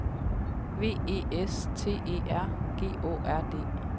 V E S T E R G Å R D